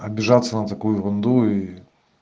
обижаться на такую ерунду и